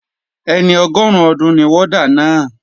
Ẹni ọgọrun ọdún ni warder náà.